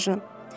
Serjant.